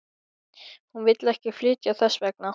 Hún vill ekki flytja þess vegna.